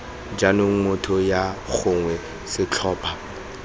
jaanong motho yo gongwe setlhopha